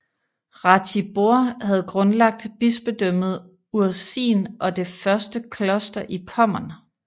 Ratibor havde grundlagt bispedømmet Urzin og det første kloster i Pommern